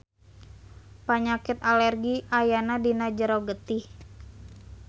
Panyakit alergi ayana dina jero getih.